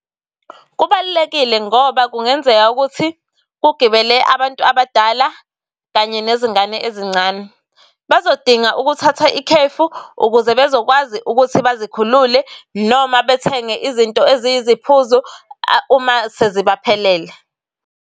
Kubalulekile ngoba kungenzeka ukuthi ukugibele abantu abadala kanye nezingane ezincane. Bazodinga ukuthatha ikhefu ukuze bezokwazi ukuthi bazikhulule noma bethenge izinto eziyiziphuzo uma sezibaphelele.